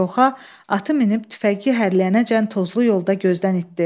Koxan atı minib tüfəyi hərləyənəcən tozlu yolda gözdən itdi.